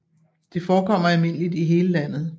Det forekommer almindeligt i hele landet